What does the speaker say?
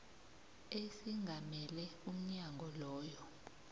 esingamele umnyango loyo